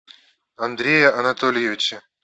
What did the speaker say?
андрея анатольевича